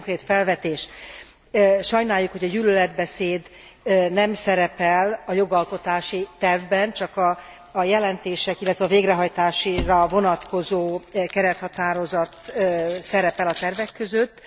Néhány konkrét felvetés sajnáljuk, hogy a gyűlöletbeszéd nem szerepel a jogalkotási tervben, csak a jelentések, illetve a végrehajtásra vonatkozó kerethatározat szerepel a tervek között.